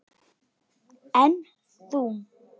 En þú.